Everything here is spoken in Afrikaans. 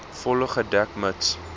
volle gedek mits